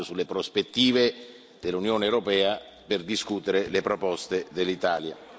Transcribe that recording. È un dibattito sulle prospettive dell'Unione europea per discutere le proposte dell'Italia.